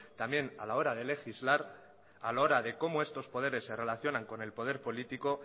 también a la hora de legislar a la hora de cómo estos poderes se relacionan con el poder político